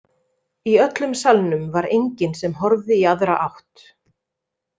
Í öllum salnum var enginn sem horfði í aðra átt.